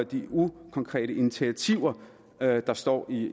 de ukonkrete initiativer der der står i